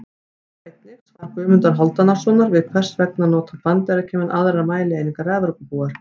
Sjá einnig: Svar Guðmundar Hálfdanarsonar við Hvers vegna nota Bandaríkjamenn aðrar mælieiningar en Evrópubúar?